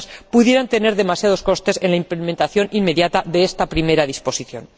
pudieran tener demasiados costes en la implementación inmediata de esta primera disposición.